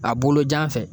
A bolojan fɛ